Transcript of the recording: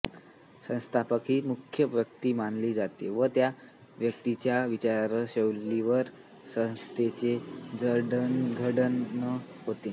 संस्थापक ही मुख्य व्यक्ति मानली जाते व त्या व्यक्तीच्या विचारशैलीवर संस्थेचे जडणघडण होते